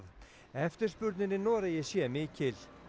eftirspurnin í Noregi sé mikil